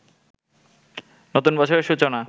নতুন বছরের সূচনা